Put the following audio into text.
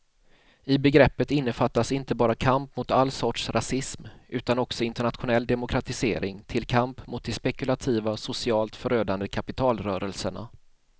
I begreppet innefattas inte bara kamp mot all sorts rasism utan också internationell demokratisering till kamp mot de spekulativa, socialt förödande kapitalrörelserna.